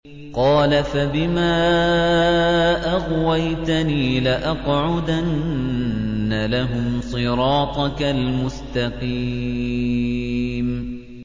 قَالَ فَبِمَا أَغْوَيْتَنِي لَأَقْعُدَنَّ لَهُمْ صِرَاطَكَ الْمُسْتَقِيمَ